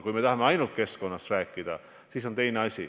Kui me tahame ainult keskkonnast rääkida, siis on teine asi.